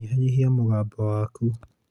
nyĩhanyĩhĩa mũgambo wakũ